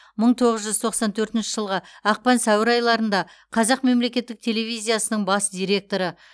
мың тоғыз жүз тоқсан төртінші жылғы ақпан сәуір айларында қазақ мемлекеттік телевизиясының бас директоры